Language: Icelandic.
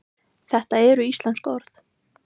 þetta eru íslensk orð